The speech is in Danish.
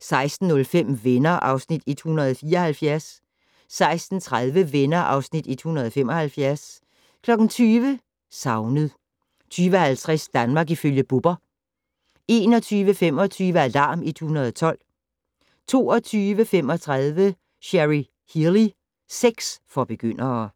16:05: Venner (Afs. 174) 16:30: Venner (Afs. 175) 20:00: Savnet 20:50: Danmark ifølge Bubber 21:25: Alarm 112 22:35: Cherry Healey - sex for begyndere